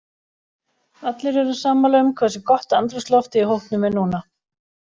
Allir eru sammála um hversu gott andrúmsloftið í hópnum er núna.